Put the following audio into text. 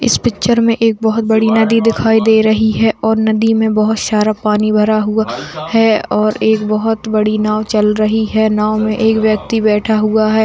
इस पिक्चर में एक बहुत बड़ी नदी दिखाई दे रही है और नदी में बहुत सारा पानी भरा हुआ है और एक बहुत बड़ी नाव चल रही है नाव में एक व्यक्ति बैठा हुआ है।